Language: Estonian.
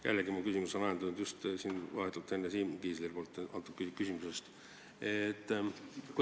Jällegi on mu küsimus ajendatud just vahetult enne Siim Kiisleri esitatud küsimusest.